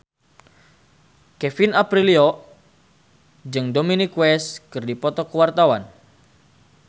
Kevin Aprilio jeung Dominic West keur dipoto ku wartawan